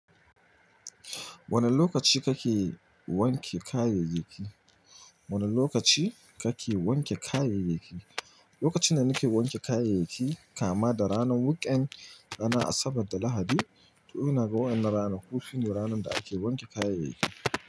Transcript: Wane lokaci kake wanke kayayyaki? Wane lokaci kake wanke kayayyaki? Lokacin da nake wanke kayayyaki kama da ranar weekend ranar Asabar da Lahadi. To ina ga wa'yannan rana ku sune ranar da ake wanke kayayyaki.